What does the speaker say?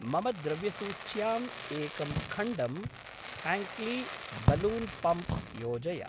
मम द्रव्यसूच्यां एकं खण्डम् हाङ्क्ली बलून् पम्प् योजय।